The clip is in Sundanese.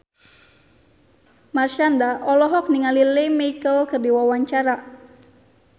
Marshanda olohok ningali Lea Michele keur diwawancara